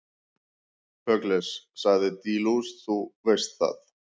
Pugliese, sagði De Luca, þú veist það.